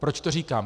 Proč to říkám?